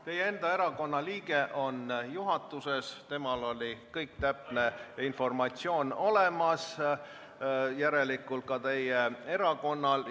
Teie enda erakonna liige on juhatuses, temal oli kogu täpne informatsioon olemas, järelikult ka teie erakonnal.